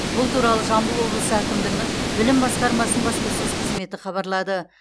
бұл туралы жамбыл облысы әкімдігінің білім басқармасының баспасөз қызметі хабарлады